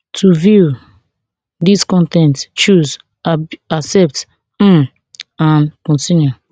to view dis con ten t choose accept um and continue